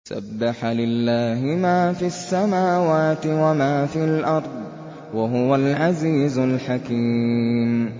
سَبَّحَ لِلَّهِ مَا فِي السَّمَاوَاتِ وَمَا فِي الْأَرْضِ ۖ وَهُوَ الْعَزِيزُ الْحَكِيمُ